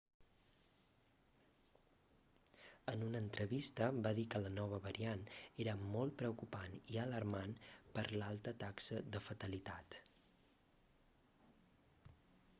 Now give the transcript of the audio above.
en una entrevista va dir que la nova variant era molt preocupant i alarmant per l'alta taxa de fatalitat